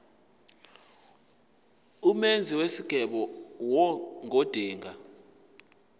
umenzi wesicelo ngodinga